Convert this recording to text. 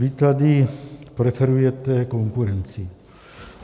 Vy tady preferujete konkurenci.